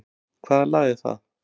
Hvaða lag er það?